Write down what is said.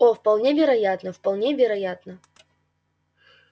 о вполне вероятно вполне вероятно